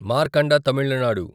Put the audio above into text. Markanda Tamil Nadu